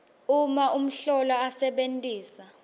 uma umhlolwa asebentisa